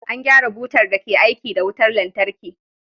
An gyara butar da ke aiki da wutar lantarki.